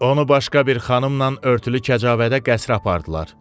Onu başqa bir xanımla örtülü kəcavədə qəsrə apardılar.